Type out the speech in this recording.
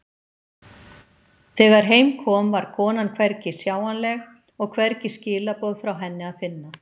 Þegar heim kom var konan hvergi sjáanleg og hvergi skilaboð frá henni að finna.